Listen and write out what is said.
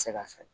se ka fɛ